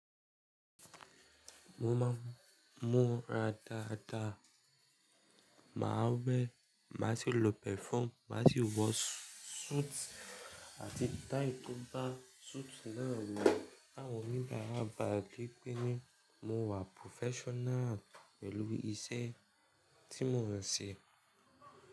Mo máa ń mú ara daada, màá ń wẹ, màá sì lo perfume, màá sì wọ suit àti tie tó bá suit náà lọ̀. Àwọn òníbàárà bá bì pé ní mo wà professional pẹ̀lú iṣẹ́ tí mo ń ṣe.